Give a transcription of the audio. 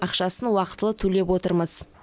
ақшасын уақытылы төлеп отырмыз